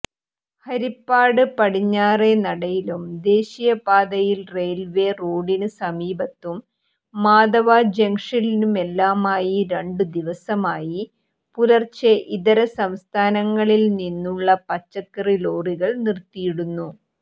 ഹരിപ്പാട് പടിഞ്ഞാറെനടയിലും ദേശീയപാതയിൽ റെയിൽവേ റോഡിന് സമീപത്തും മാധവാ ജങ്ഷനിലുമെല്ലാമായി രണ്ടുദിവസമായി പുലർച്ചേ ഇതരസംസ്ഥാനങ്ങളിൽനിന്നുള്ള പച്ചക്കറിലോറികൾ നിർത്തിയിടുന്നു